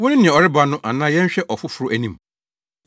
“Wo ne nea ɔreba no, anaa yɛnhwɛ ɔfoforo anim?”